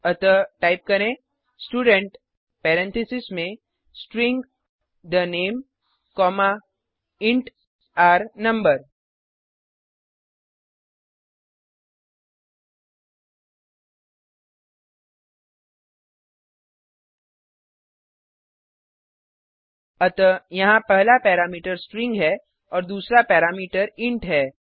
अतः टाइप करें student parentheses में string the name comma int r no अतः यहाँ पहला पैरामीटर स्ट्रिंग है और दूसरा पैरामीटर इंट है